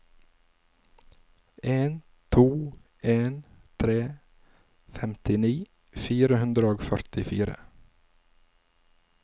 en to en tre femtini fire hundre og førtifire